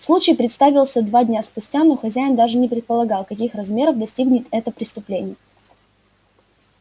случай представился два дня спустя но хозяин даже не предполагал каких размеров достигнет это преступление